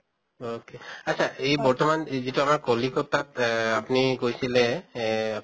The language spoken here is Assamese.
okay আত্চ্ছা এই বৰ্তমান এই যিটো আমাৰ কলিকতাত এহ আপুনি কৈছিলে এহ